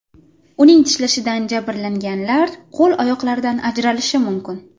Uning tishlashidan jabrlanganlar qo‘l barmoqlaridan ajralishi mumkin.